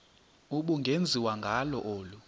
ubungenziwa ngalo olu